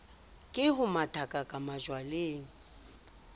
ke ho mathakaka majwaleng o